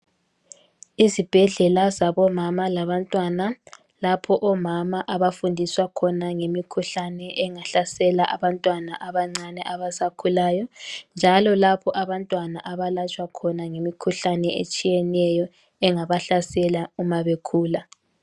Izibhedlela zabomama labantwana lapho omama abafundiswa khona ngemikhuhlane engahlasela abantwana abancane abasakhulayo. Njalo lapho abantwana abalatshwa khona ngemikhuhlane etshiyeneyo engabahlasela uma bekhula.